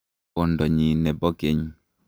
kwondonyi ne bo keny.